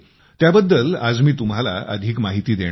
त्याबद्दल आज मी तुम्हांला अधिक माहिती देणार आहे